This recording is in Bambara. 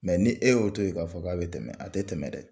ni e y'o to yen k'a fɔ k'a bɛ tɛmɛ a tɛ tɛmɛ dɛ